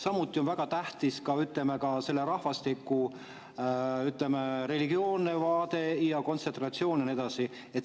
Samuti on väga tähtis selle rahvastiku, ütleme, religioosne vaade ja kontsentratsioon ja nii edasi.